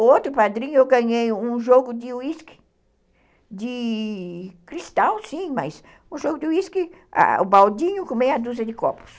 Outro padrinho eu ganhei um jogo de uísque, de cristal sim, mas um jogo de uísque, o baldinho com meia dúzia de copos.